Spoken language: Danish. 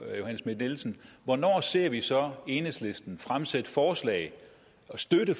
johanne schmidt nielsen hvornår ser vi så enhedslisten fremsætte forslag og støtte